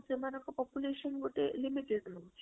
ସେମନଙ୍କ population ଗୋଟେ limited ରହୁଛି